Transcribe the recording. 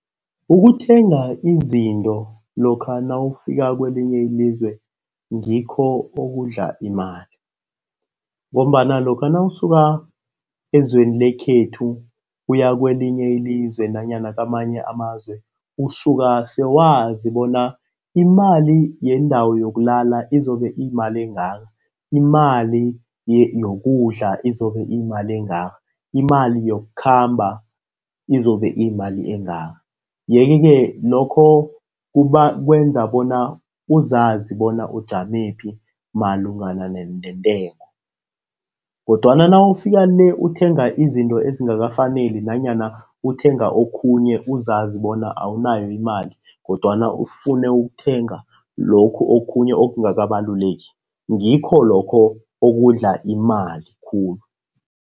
Ukuthenga izinto lokha nawufika kwelinye ilizwe ngikho okudla imali, ngombana lokha nawusuka ezweni lekhethu uya kwelinye ilizwe nanyana kamanye amazwe usuka sewazi bona imali yendawo yokulala izobe iyimali engaka, imali yokudla izobe iyimali engaka, imali yokukhamba izobe iyimali engaka. Yeke-ke lokho kwenza bona uzazi bona ujamephi malungana neentengo, kodwana nawufika le uthenga izinto ezingakafaneli nanyana uthenga okhunye uzazi bona awunayo imali, kodwana ufune ukuthenga lokhu okhunye okungakabaluleki ngikho lokho okudla imali khulu.